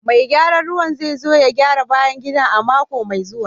Mai gyaran ruwa zai zo ya gyara bayan gida a mako mai zuwa